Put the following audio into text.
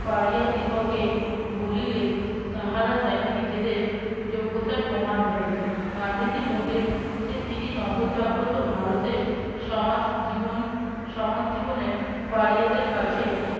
পাড়িয়াদিগকে বলিলেন তাহারা যেন নিজেদের যোগ্যতার প্রমাণ দেয়। গান্ধীজী বলেন যে তিনি নবজাগ্রত ভারতের সমাজ জীবন সমাজ জীবনের পাড়িয়াদের কাছে